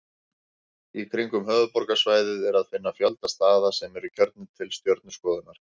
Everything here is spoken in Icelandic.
Í kringum höfuðborgarsvæðið er að finna fjölda staða sem eru kjörnir til stjörnuskoðunar.